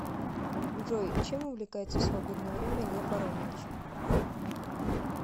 джой чем увлекается в свободное время лев аронович